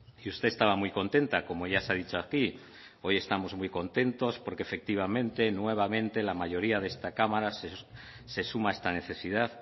y usted estaba muy contenta como ya se ha dicho aquí hoy estamos muy contentos porque efectivamente nuevamente la mayoría de esta cámara se suma a esta necesidad